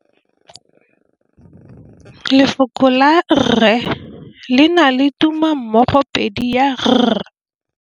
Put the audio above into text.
Lefoko la rre le na le tumammogôpedi ya, r.